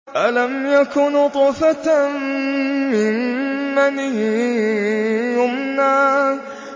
أَلَمْ يَكُ نُطْفَةً مِّن مَّنِيٍّ يُمْنَىٰ